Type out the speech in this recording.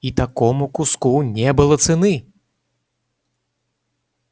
и такому куску не было цены